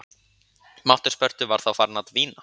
Máttur Spörtu var þá farinn að dvína.